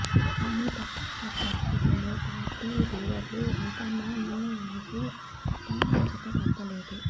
కానీ తప్పనిస రి పరిస్థితుల్లో పార్టీ లీడర్లు హైకమాండ్ నిర్ణయానికి తలవంచక తప్పలేదు